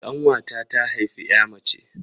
Ƙanwata ta haifi 'ya mace.